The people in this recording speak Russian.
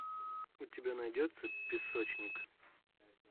у тебя найдется песочник